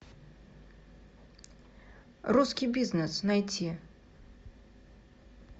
русский бизнес найти